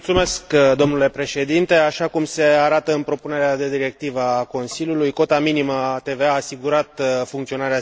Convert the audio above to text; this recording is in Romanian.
Așa cum se arată în propunerea de directivă a Consiliului, cota minimă a TVA a asigurat funcționarea sistemului la un nivel acceptabil.